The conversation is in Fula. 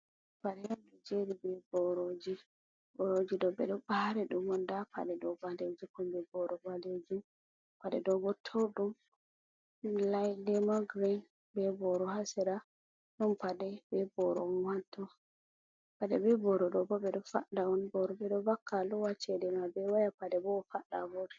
Pade un do jeri be boroji, boroji do beddo bari dum un dum da pade do balejum ha kombi boro balejum, pade do bo toudum lemon green be boro ha sera don pade be boro ha to. Pade be boro do bo bedo fadda on, boro bedo vakka luwa cede ma be waya pade bo fadda a vurta.